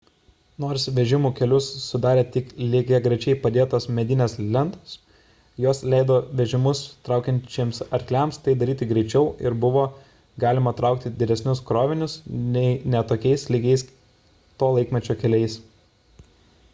nors vežimų kelius sudarė tik lygiagrečiai padėtos medinės lentos jos leido vežimus traukiančiems arkliams tai daryti greičiau ir buvo galima traukti didesnius krovinius nei ne tokiais lygiais to laikmečio keliais